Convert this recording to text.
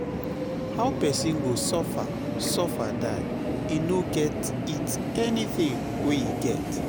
How pesin go suffer sufer die, e no go eat anthing wey e get.